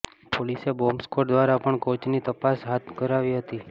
પોલીસે bomb squad દ્વારા પણ કોચની તપાસ કરાવી હતી